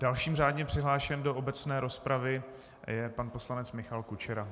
Dalším řádně přihlášeným do obecné rozpravy je pan poslanec Michal Kučera.